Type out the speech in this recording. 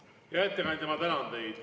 Hea ettekandja, ma tänan teid.